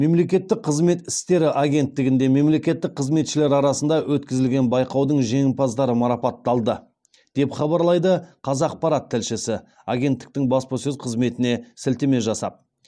мемлекеттік қызмет істері агенттігінде мемлекеттік қызметшілер арасында өткізілген байқаудың жеңімпаздары марапатталды деп хабарлайды қазақпарат тілшісі агенттіктің баспасөз қызметіне сілтеме жасап